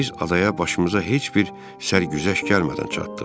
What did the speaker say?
Biz adaya başımıza heç bir sərgüzəşt gəlmədən çatdıq.